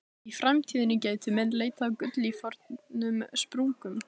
Í framtíðinni gætu menn leitað að gulli í fornum sprungum.